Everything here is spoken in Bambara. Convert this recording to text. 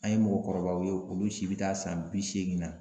An ye mɔgɔkɔrɔbaw ye, olu si be taa san bi seegin na.